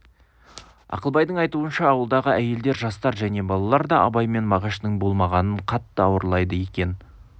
ақылбайдың айтуынша ауылдағы әйелдер жастар және балалар да абай мен мағаштың болмағанын қатты ауырлайды екен